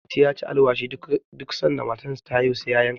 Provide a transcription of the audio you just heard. mati ya ci alwashi duk sanda matarsa ta haihu sai ya yanka sa